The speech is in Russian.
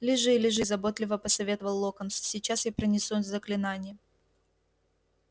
лежи лежи заботливо посоветовал локонс сейчас я произнесу заклинание